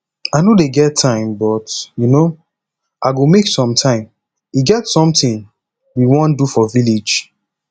i no dey get time but um i go make some time e get something we wan do for village